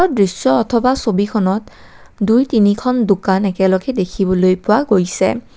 দৃশ্য অথবা ছবিখনত দুইতিনিখন দোকান একেলগে দেখিবলৈ পোৱা গৈছে।